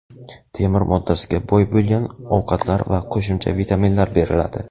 temir moddasiga boy bo‘lgan ovqatlar va qo‘shimcha vitaminlar beriladi.